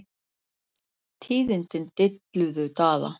Tíðindin dilluðu Daða.